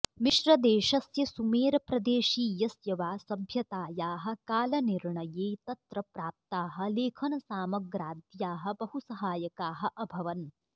मिश्रदेशस्य सुमेरप्रदेशीयस्य वा सभ्यतायाः कालनिर्णये तत्र प्राप्ताः लेखनसामग्राद्याः बहुसहायकाः अभवन्